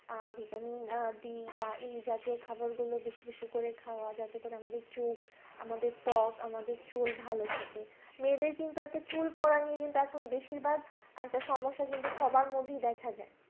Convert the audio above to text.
Vitamin d বা এই জাতীয় খাবার গুলো বেশি বেশি করে খাওয়া যাতে করে আমাদের চোখ আমাদের ত্বক আমাদের চুল ভালো থাকে মেয়েদের কিন্তু একটা চুল পড়া নিয়ে কিন্তু এখন বেশি ভাগ একটা সমস্যা কিন্তু সবার মধ্যেই দেখা যায়